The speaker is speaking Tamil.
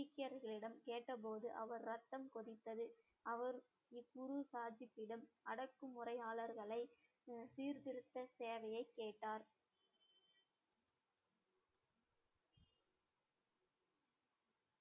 சீக்கியர்களிடம் கேட்டபோது அவர் ரத்தம் கொதித்தது அவர் இக்குருசாதித்திடம் அடக்கு முறையாளர்களை சீர்திருத்த சேவையை கேட்டாரு